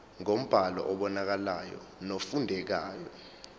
ngombhalo obonakalayo nofundekayo